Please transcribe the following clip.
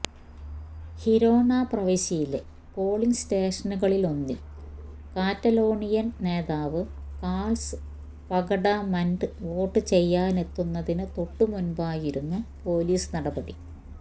Girona പ്രവിശ്യയിലെ polling സ്റ്റേഷനുകളിലൊന്നിൽ Catalonian നേതാവ് കാൾസ് പഗ്ഡമൻഡ് വോട്ടു ചെയ്യാനെത്തുന്നതിനു തൊട്ടുമുൻപായിരുന്നു പോലീസ് നടപടി